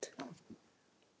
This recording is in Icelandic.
Gerðu það sem þér sýnist.